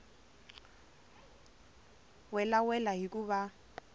welawela hi ku va va